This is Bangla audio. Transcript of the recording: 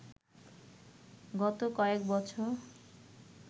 গত কয়েক বছর